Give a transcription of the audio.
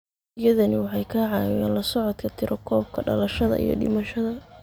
Adeegyadani waxay ka caawiyaan la socodka tirakoobka dhalashada iyo dhimashada.